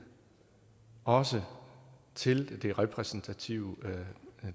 også til det repræsentative